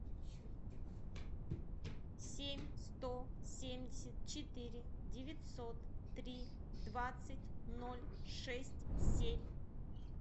семь сто семьдесят четыре девятьсот три двадцать ноль шесть семь